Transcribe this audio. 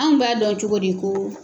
An b'an dɔn cogo di ko.